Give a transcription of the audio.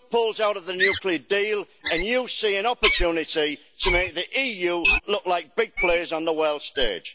Trump pulls out of the nuclear deal and you see an opportunity to make the EU look like big players on the world stage.